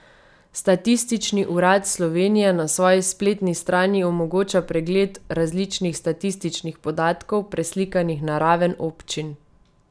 Statistični urad Slovenije na svoji spletni strani omogoča pregled različnih statističnih podatkov, preslikanih na raven občin.